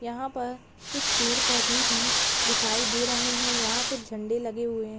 यहाँ पर कुछ पेड़-पौधे भी दिखाई दे रहे हैं यहाँ कुछ झंडे लगे हुए हैं।